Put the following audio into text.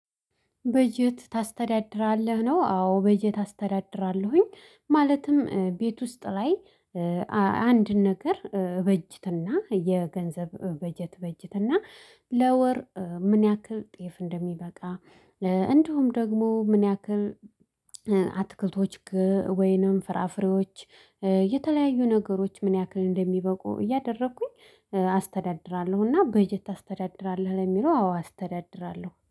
በየት ታስተዳድራለህ? ነው አዎ። በጀት አስተዳድራለሁኝ ማለትም ቤት ውስጥ ላይ በጀት ታስተዳድራለህ? ነው አዎ። በጀት አስተዳድራለሁኝ ማለትም ቤት ውስጥ ላይ እንድውም ደግሞ ምን ያክል አትክልቶች ወይንም ፍራፍሬዎች የተለያዩ ነገሮች ምን ያክል እንደሚበቁ እያደረኩኝ በጀት ታስተዳድራለህ? ነው አዎ። በጀት አስተዳድራለሁኝ። ማለትም ቤት ውስጥ ላይ